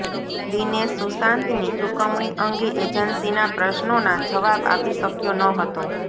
દિનેશ સુશાંતની ચુકવણી અંગે એજન્સીના પ્રશ્નોના જવાબ આપી શક્યો ન હતો